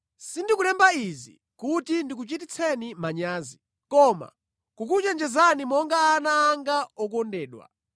Sindikulemba izi kuti ndikuchititseni manyazi, koma kukuchenjezani monga ana anga okondedwa.